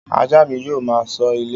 Ajá mi yóò máa ṣọ́ ilé.